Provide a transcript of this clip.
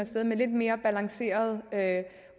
sted med lidt mere balancerede